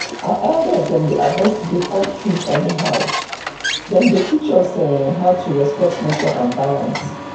our elders dem dey avoid to dey cut trees anyhow dem dey teach us um how to respect nature and balance